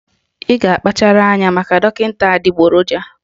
Ị ga-akpachara anya maka dọkịta adịgboroja